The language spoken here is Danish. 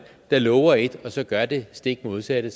der lover et og så gør det stik modsatte